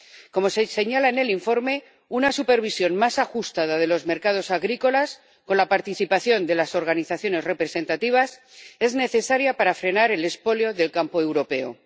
Como se señala en el informe, una supervisión más ajustada de los mercados agrícolas, con la participación de las organizaciones representativas, es necesaria para frenar el expolio del campo europeo.